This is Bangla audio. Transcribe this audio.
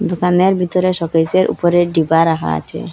দোকানের ভিতরে শোকেসের উপরে ডিবা রাখা আছে।